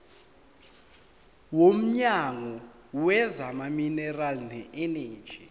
womnyango wezamaminerali neeneji